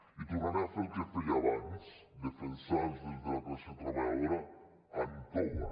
i tornaré a fer el que feia abans defensar els drets de la classe treballadora amb toga